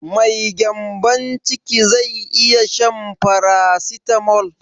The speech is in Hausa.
Mai gyanbon ciki zai iya shan farasitamol?